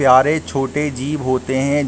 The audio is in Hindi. छोटे जीव होते है।